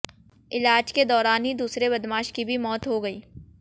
इलाज के दौरान ही दूसरे बदमाश की भी मौत हो गई